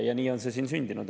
Ja nii on see sündinud.